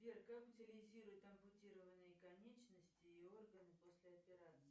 сбер как утилизируют ампутированные конечности и органы после операции